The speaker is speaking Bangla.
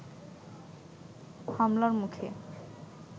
হামলার মুখে